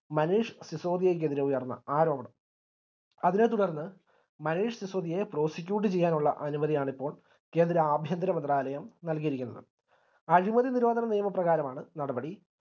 മനീഷ് സിസോദിയക്കെതിരെ ഉയർന്ന ആരോപണം അതിനെ തുടർന്ന് മനീഷ് സിസോദിയെ prosecuted ചെയ്യാൻ ഉള്ള അനുമതിയാണ് ഇപ്പോൾ കേന്ദ്ര ആഭ്യന്തര മന്ത്രാലയം നൽകിയിരിക്കുന്നത് അഴിമതി നിരോധന നിയമപ്രകാരമാണ് നടപടി